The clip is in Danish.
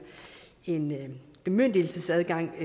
en bemyndigelsesadgang